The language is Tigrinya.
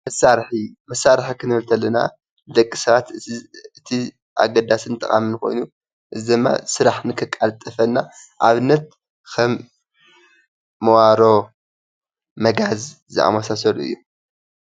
መሳሪሒ ፦መሳሪሒ ክንብል እንተለና ንደቂ ሰባት እቲ ኣገዳስን ጠቓሚ ኮይኑ እዚ ድማ ስራሕ ንክቃላጥፈና ንኣብነት ኸም መዋሮ፣ መጋዝ ዝኣመሳሰሉ እዮም።